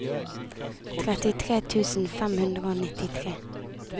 trettitre tusen fem hundre og nittitre